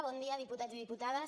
bon dia diputats i diputades